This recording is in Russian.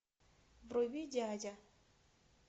вруби дядя